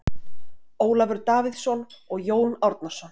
Ólafur Davíðsson og Jón Árnason.